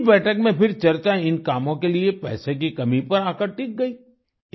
इसी बैठक में फिर चर्चा इन कामों के लिए पैसे की कमी पर आकर टिक गई